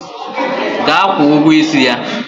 Gaa kwụọ ụgwọ isi ya!